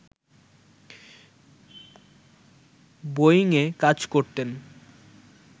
বোয়িংয়ে কাজ করতেন